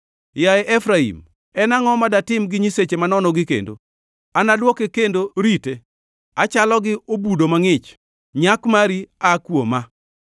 Yaye Efraim en angʼo ma datim gi nyiseche manonogi kendo? Anadwoke kendo rite, achalo gi obudo mangʼich, nyak mari aa kuoma.”